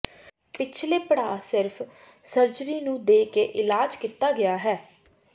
ਪਿਛਲੇ ਪੜਾਅ ਸਿਰਫ ਸਰਜਰੀ ਨੂੰ ਦੇ ਕੇ ਇਲਾਜ ਕੀਤਾ ਗਿਆ ਹੈ